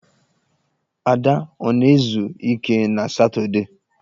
Ada ọ na-ezu ike na Satọọdee?